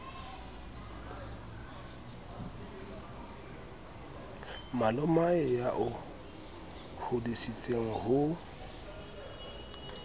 malomao ya o hodisitseng ho